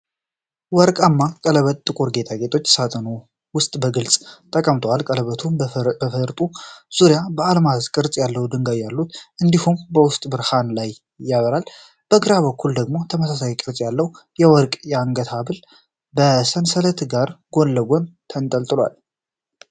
ወርቃማ ቀለበት በጥቁር ጌጣጌጥ ሳጥን ውስጥ በግልጽ ተቀምጧል። ቀለበቱ በበፈርጡ ዙሪያ የአልማዝ ቅርጽ ያላቸው ድንጋዮች አሉት እንዲሁም የውስጥ ብርሃን ከላይ ያበራል። በግራ በኩል ደግሞ ተመሳሳይ ቅርጽ ያለው የወርቅ የአንገት ሐብል ከሰንሰለት ጋር ጎን ለጎን ተንጠልጥሏል።